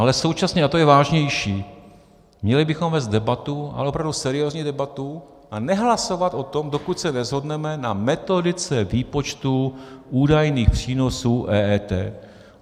Ale současně, a to je vážnější, měli bychom vést debatu, ale opravdu seriózní debatu, a nehlasovat o tom, dokud se neshodneme na metodice výpočtů údajných přínosů EET.